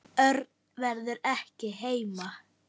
Örn verður ekki heima.